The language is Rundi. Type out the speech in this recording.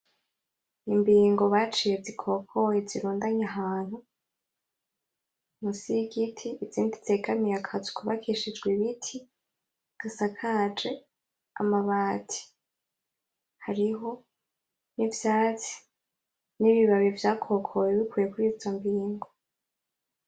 Imbingo baciye zikokoye zirundanye ahantu, munsi y'Igiti izindi zegamiye akazu kubakishijwe Ibiti gasakaje amabati. Hariho nivyatsi n'ibibabi vyakokowe bikuwe kurizo mbingo.